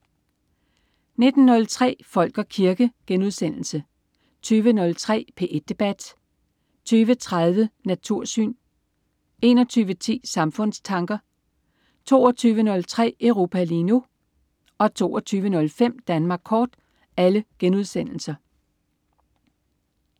19.03 Folk og kirke* 20.03 P1 debat* 20.30 Natursyn* 21.10 Samfundstanker* 22.03 Europa lige nu* 22.55 Danmark Kort*